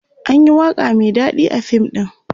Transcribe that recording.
anyi waƙa Mai daɗi a fim ɗin